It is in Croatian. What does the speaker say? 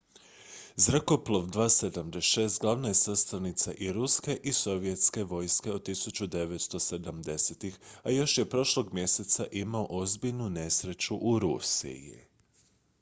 zrakoplov il-76 glavna je sastavnica i ruske i sovjetske vojske od 1970-ih a još je prošlog mjeseca imao ozbiljnu nesreću u rusiji